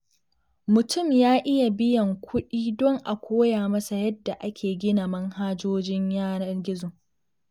Mutum ya iya biyan kuɗin don a koya masa yadda ake gina manhajojin yanar gizo.